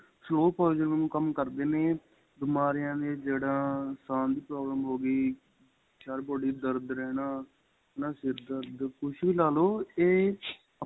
slow ਕੰਮ ਕਰਦੇ ਨੇ ਬਿਮਾਰੀਆਂ ਦੀਆਂ ਜੜ੍ਹਾਂ ਸਾਂਹ ਦੀ problem ਹੋ ਗਈ ਸਾਰੀ body ਦੇ ਦਰਦ ਰਹਿਣਾ ਹੈਨਾ ਸਿਰ ਦਰਦ ਕੁੱਛ ਵੀ ਲਾਲੋ ਏਹ